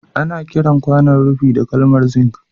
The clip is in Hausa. Ana kiran kwanaon rufi da kalmar zink